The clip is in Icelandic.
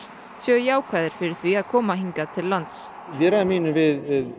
séu jákvæðir fyrir því að koma hingað til lands í viðræðum mínum við